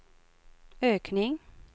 ökning